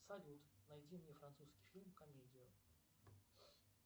салют найди мне французский фильм комедию